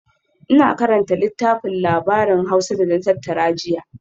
Ina karanta littafin labarin Hausa da na tattara jiya